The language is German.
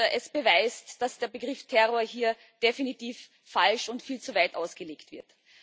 Es beweist, dass der Begriff Terror hier definitiv falsch und viel zu weit ausgelegt wird.